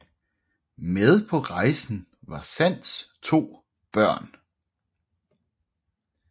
Med på rejsen var Sands to børn